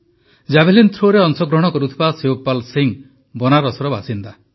javelin ଥ୍ରୋରେ ଅଂଶଗ୍ରହଣ କରୁଥିବା ଶିବପାଲ୍ ସିଂ ବନାରସର ବାସିନ୍ଦା